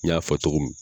N y'a fɔ cogo min